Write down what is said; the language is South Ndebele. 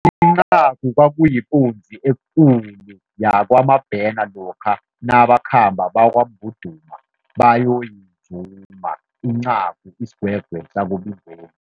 Incagu kwakuyikunzi ekulu yakwaMabhena lokha nabakhambako bakwaMbhuduma bayoyizuma. Incagu isigwegwe sakoBingweni.